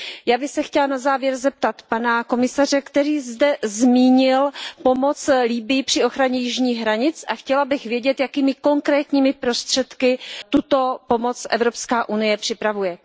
Já bych se chtěla na závěr zeptat pana komisaře, který zde zmínil pomoc Libyi při ochraně jižních hranic, chtěla bych vědět jakými konkrétními prostředky tuto pomoc Evropská unie připravuje?